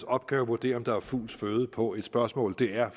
opgave at vurdere om der er fugls føde på et spørgsmål det er